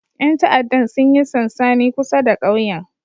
Yan ta'addan sun yi sansani kusa da kauyen